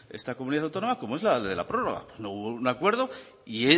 esta comunidad autónoma como es la de la prórroga hubo un acuerdo y